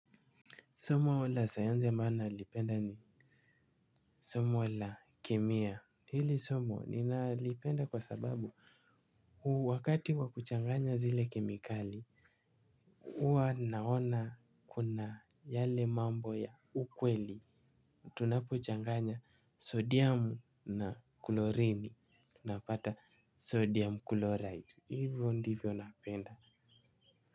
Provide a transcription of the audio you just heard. Somo la sayansi ambayo nalipenda ni somo la kemia hili somo ninalipenda kwa sababu wakati wa kuchanganya zile kemikali uwa naona kuna yale mambo ya ukweli tunapochanganya sodium na klorini tunapata sodium klorite hivyo ndivyo napenda.